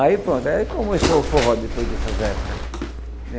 Aí pronto, aí começou o forró depois dessas épocas.